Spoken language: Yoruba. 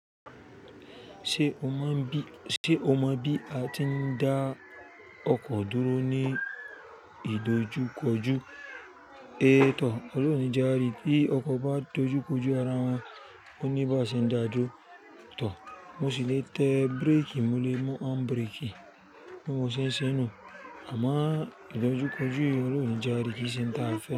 Ṣé o mọ bí a tí ń dá ọkọ̀ dúró ní ìdojúkọjú? É tọ̀, ọlọrun òní jẹ ari bí ọkọ̀ bá dojúkọjú ara wọn, ó níbàṣe ń dáa dúró. Tọ̀, mo sì lè tẹ bíréèkì, mo lè mú hándbireeki bí mo n ṣe n ṣe nú. Àmọ́ ìdojúkọjú Olórun onijàri kì í ṣe ń ta afẹ́.